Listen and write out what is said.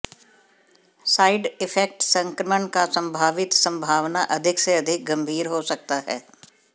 side effect संक्रमण का संभावित संभावना अधिक से अधिक गंभीर हो सकता है